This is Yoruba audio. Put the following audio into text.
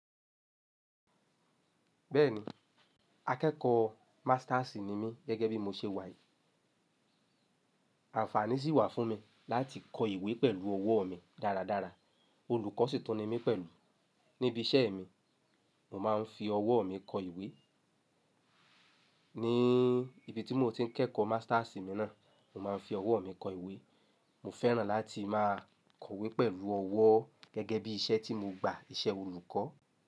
Bẹ́ẹ̀ni, akẹ́kọ̀ọ́ Masters ni mí gẹ́gẹ́ bí mo ṣe wà yìí. Àǹfààní sì wà fún mi láti kọ ìwé pẹ̀lú ọwọ́ mi dáradára. Olùkọ́ sì tún ni mí pẹ̀lú. Níbi iṣẹ́ mi, mo máa ń fi ọwọ́ mi kọ ìwé. Ní ibi tí mo ti ń kẹ́kọ̀ọ́ Masters mi náà, mo máa ń fi ọwọ́ mi kọ ìwé. Mo fẹ́ràn láti máa kọ ìwé pẹ̀lú ọwọ́ gẹ́gẹ́ bí iṣẹ́ tí mo gba, iṣẹ́ olùkọ́